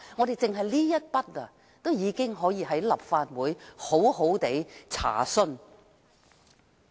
單是這一點已經可以在立法會進行調查。